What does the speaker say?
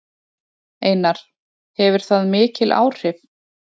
Einar: Hefur það mikil áhrif?